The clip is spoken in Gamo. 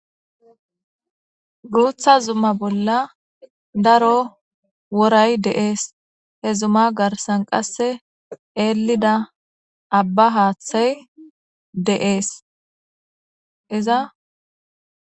guutha zumma bolla daro woray de7ees he zumma garsan qasse eelida abba haaththay de7ees iza